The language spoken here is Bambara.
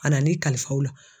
A nana ne kalifa o la